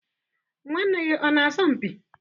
nwanne gị ọ na-asọ mpi?